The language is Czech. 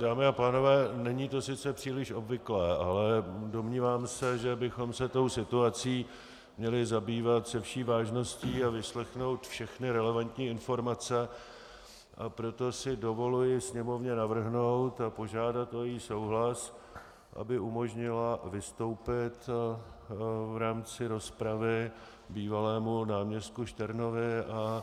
Dámy a pánové, není to sice příliš obvyklé, ale domnívám se, že bychom se tou situací měli zabývat se vší vážností a vyslechnout všechny relevantní informace, a proto si dovoluji Sněmovně navrhnout a požádat o její souhlas, aby umožnila vystoupit v rámci rozpravy bývalému náměstku Šternovi a